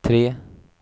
tre